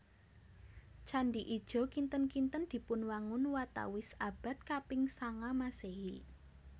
Candhi Ijo kinten kinten dipunwangun watawis abad kaping sanga Maséhi